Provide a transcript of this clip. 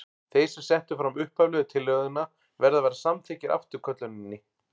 Þeir sem settu fram upphaflegu tillöguna verða að vera samþykkir afturkölluninni.